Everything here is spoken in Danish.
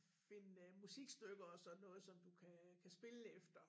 Finde øh musikstykker og sådan noget som du kan kan spille efter